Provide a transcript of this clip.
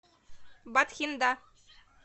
батхинда